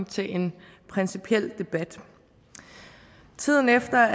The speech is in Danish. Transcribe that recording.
til en principiel debat tiden efter